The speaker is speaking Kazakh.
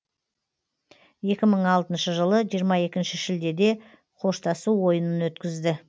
екі мың алтыншы жылы жиырма екінші шілдеде қоштасу ойынын өткізді